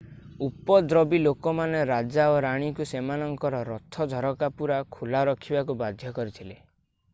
ଉପଦ୍ରବୀ ଲୋକମାନେ ରାଜା ଓ ରାଣୀଙ୍କୁ ସେମାନଙ୍କର ରଥ ଝରକା ପୂରା ଖୋଲା ରଖିବାକୁ ବାଧ୍ୟ କରିଥିଲେ